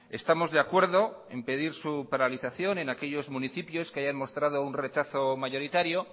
estamos de acuerdo en pedir su paralización en aquellos municipios que hayan mostrado un rechazo mayoritario